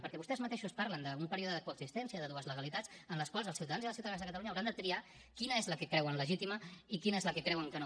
perquè vostès mateixos parlen d’un període de coexistència de dues legalitats en les quals els ciutadans i les ciutadanes de catalunya hauran de triar quina és la que creuen legítima i quina és la que creuen que no